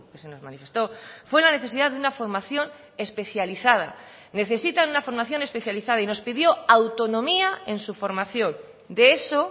se nos manifestó fue la necesidad de una formación especializada necesitan una formación especializada y nos pidió autonomía en su formación de eso